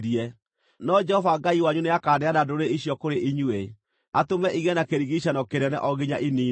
No Jehova Ngai wanyu nĩakaneana ndũrĩrĩ icio kũrĩ inyuĩ, atũme igĩe na kĩrigiicano kĩnene o nginya iniinwo.